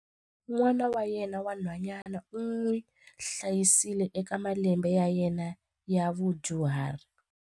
N'wana wa yena wa nhwanyana u n'wi hlayisile eka malembe ya yena ya vudyuhari.